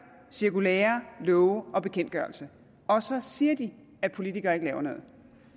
cirkulærer love og bekendtgørelser og så siger de at politikere ikke laver noget